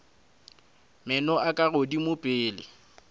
meno a ka godimo pele